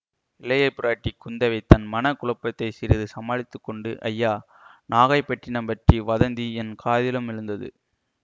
இளையபிராட்டி குந்தவை தன் மன குழப்பத்தை சிறிது சமாளித்து கொண்டு ஐயா நாகைப்பட்டினம் பற்றி வதந்தி என் காதிலும் விழுந்தது